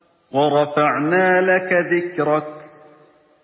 وَرَفَعْنَا لَكَ ذِكْرَكَ